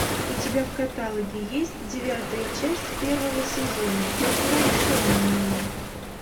у тебя в каталоге есть девятая часть первого сезона возвращенные